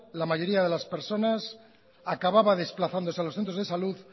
la mayoría de las personas acababa desplazándose a los centros de salud